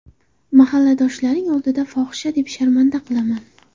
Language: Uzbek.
Mahalladoshlaring oldida fohisha deb sharmanda qilaman!